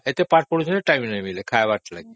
ଏତେ ପାଠ ପଢୁଛନ୍ତି time ମିଳୁନି ଖାଇବାଲାଗି